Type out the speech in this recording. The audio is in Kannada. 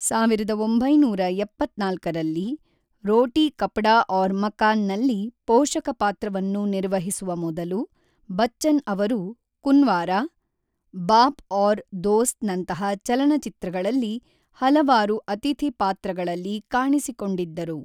ಸಾವಿರದ ಒಂಬೈನೂರ ಎಪ್ಪತ್ತ್ನಾಲ್ಕರಲ್ಲಿ, ರೋಟೀ ಕಪ್ಡಾ ಔರ್ ಮಕಾನ್ ನಲ್ಲಿ ಪೋಷಕ ಪಾತ್ರವನ್ನು ನಿರ್ವಹಿಸುವ ಮೊದಲು, ಬಚ್ಚನ್ ಅವರು ಕುನ್ವಾರ, ಬಾಪ್ ಮತ್ತು ದೋಸ್ತ್ ನಂತಹ ಚಲನಚಿತ್ರಗಳಲ್ಲಿ ಹಲವಾರು ಅತಿಥಿ ಪಾತ್ರಗಳಲ್ಲಿ ಕಾಣಿಸಿಕೊಂಡಿದ್ದರು.